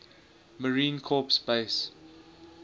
marine corps base